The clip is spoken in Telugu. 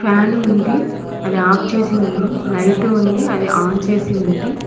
ఫ్యాన్ ఉంది అది ఆఫ్ లైట్ ఉంది అది ఆన్ చెసి ఉంది.